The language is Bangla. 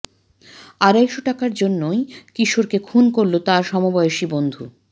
আড়াইশ টাকার জন্যই কিশোরকে খুন করল তাঁরই সমবয়সী বন্ধু